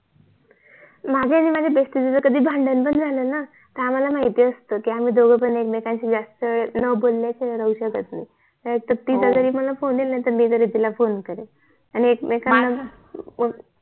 माझ्या आणि माझ्या BEST FRIEND च जर कधी भांडण पण झाल न तर आम्हाला माहिती असत कि आम्ही दोघ पण एकमेकांशी जास्त न बोलल्या शिवाय राहू शकत एकतरी तिचा तरी मला फोन येईल नाही तर मी तिला फोन करेल आणि एकमेकांना